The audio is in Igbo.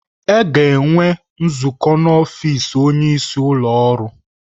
A ga-enwe nzukọ n'ọfịs onyeisi ụlọ ọrụ.